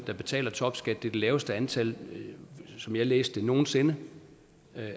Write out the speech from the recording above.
der betaler topskat det er det laveste antal som jeg læste det nogen sinde